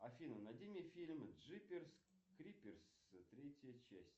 афина найди мне фильм джиперс криперс третья часть